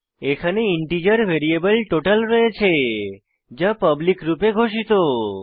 এখানে integer variable total রয়েছে যা পাবলিক রূপে ঘোষিত